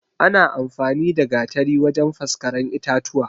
Ana amfani da Gatari wajan faskaren itatuwa